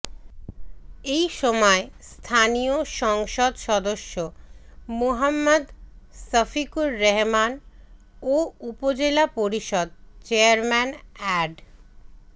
এই সময় স্থানীয় সংসদ সদস্য মুহম্মদ শফিকুর রহমান ও উপজেলা পরিষদ চেয়ারম্যান অ্যাড